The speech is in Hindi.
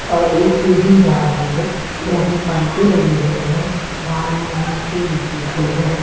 और एक सीढ़ी जा रही है मोटी पाइपें लगी हुई हैं बालो मिट्टी लगी हुई है।